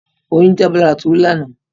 Oyún jábọ́ lára Tolú lánàá.